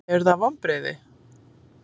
Eru það vonbrigði?